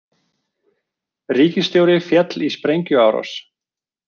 Ríkisstjóri féll í sprengjuárás